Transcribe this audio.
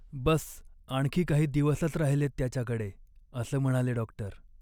बस्स आणखी काही दिवसच राहिलेत त्याच्याकडे, असं म्हणाले डॉक्टर.